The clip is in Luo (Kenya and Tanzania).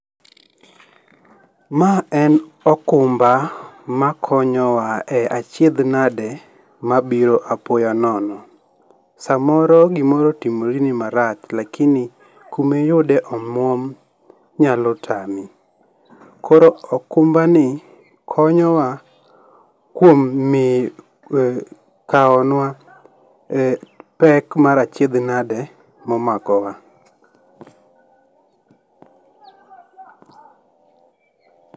Ma en okumba ma konyo wa e achiedh nade mabiro apoya nono. Samoro gimoro otimore ni marach, lakini kuma iyude omuom nyalo tami, koro okumbani konyo wa kuom kaonwa e pek mar achiedh nade momakowa.